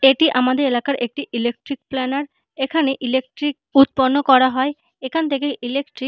এটি আমাদের এলাকার একটি ইলেকট্রিক প্লানার এখানে ইলেকট্রিক উৎপন্ন করা হয় এখান থেকে ইলেকট্রিক --